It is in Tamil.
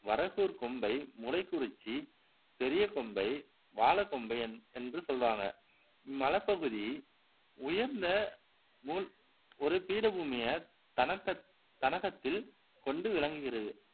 வரகூர் கோம்பை மூலைக்குரிச்சி பெரிய கோம்பை வாலக் கோம்பை என்று சொல்றாங்க இம் மலைப் பகுதி உயர்ந்த ஒரு பீடபூமியை தன்னகத்தில் கொண்டு விளங்குகிறது